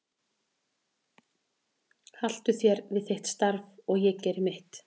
Haltu þér við þitt starf og ég geri mitt.